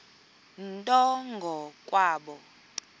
nto ngo kwabo